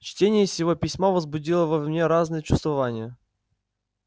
чтение сего письма возбудило во мне разные чувствования